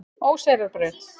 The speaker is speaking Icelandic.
Óseyrarbraut